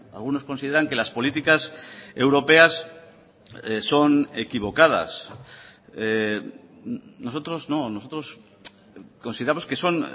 algunos consideran que las políticas europeas son equivocadas nosotros no nosotros consideramos que son